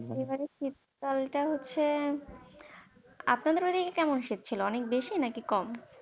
এবারে শীতকালটা হচ্ছে, আপনাদের ওইদিকে কেমন শীত ছিল, অনেক বেশি না কম?